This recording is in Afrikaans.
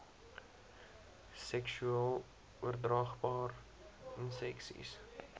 seksueel oordraagbare inseksies